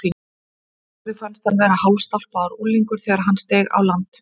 Sigurði fannst hann vera hálfstálpaður unglingur þegar hann steig á land.